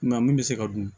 Nka min bɛ se ka dun